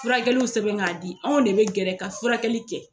Furakɛliw sɛbɛn k'a di anw de be gɛrɛ ka furakɛli kɛ